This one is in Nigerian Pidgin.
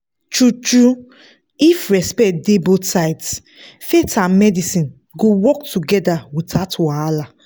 true-true if respect dey both sides faith and medicine go work together without wahala.